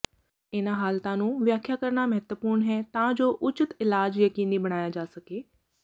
ਇਹਨਾਂ ਹਾਲਤਾਂ ਨੂੰ ਵਿਆਖਿਆ ਕਰਨਾ ਮਹੱਤਵਪੂਰਨ ਹੈ ਤਾਂ ਜੋ ਉਚਿਤ ਇਲਾਜ ਯਕੀਨੀ ਬਣਾਇਆ ਜਾ ਸਕੇ